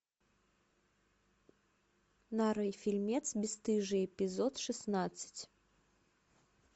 нарой фильмец бесстыжие эпизод шестнадцать